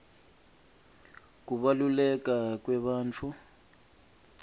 kubaluleka kwebantfu